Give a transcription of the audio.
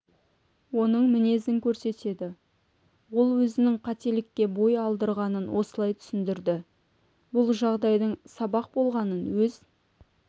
оның мінезін көрсетеді ол өзінің қателікке бой алдырғанын осылай түсіндірді бұл жағдайдың сабақ болғанын өз